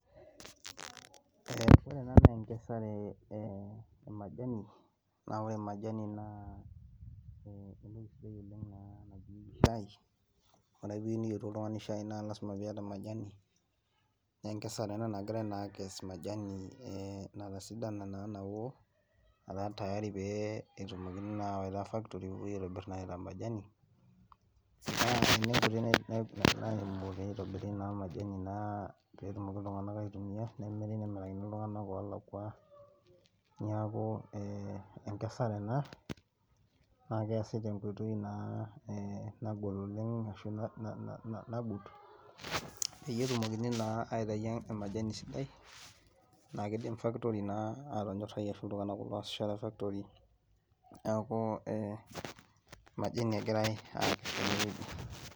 Eeh ore ena naa enkesare eh emajani naa ore majani naa entoki sidai oleng naanaji shai ore piyieu niyieru oltung'ani shai naa lasima piyata majani nenkesare ena nagirae naa akes majani eh natasidana naa nawo nataa tayari pee etumokini naa awaita factory pepuoi aitobirr naa aitaa majani naa ninye enkoitoi nai nai natumokini aitobirie naa majani naa petumoki iltung'anak aitumia nemiri nemirakini iltung'anak olakua niaku eh enkesare ena naa keesi tenkoitoi naa eh nagol oleng ashu na na nagut peyie etumokini naa aitai emajani sidai naa kidim factory naa atonyorrai ashu iltung'anak kulo oasisho te factory niaku eh majani egirae akes tenewueji.